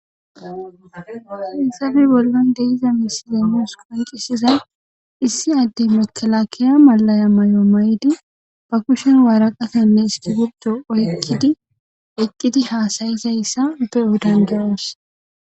Hissafe bollon deiza misile nuus koyqisizay issi addey makelakeya malaya may'o may'di ba kushen waaraqafenne istigupdo oyqkidi eqqidi haasayizayssa upe udan gewoos.